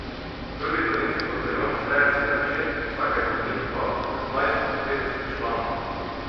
Prvi dolenjski bataljon šteje sedem čet, vsaka izmed njih pa od petnajst do petdeset članov.